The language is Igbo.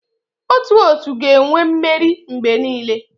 Otu otu ga-enwe mmeri mgbe niile.